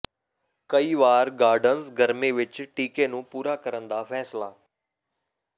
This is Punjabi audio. ਕਈ ਵਾਰ ਗਾਰਡਨਰਜ਼ ਗਰਮੀ ਵਿੱਚ ਟੀਕੇ ਨੂੰ ਪੂਰਾ ਕਰਨ ਦਾ ਫੈਸਲਾ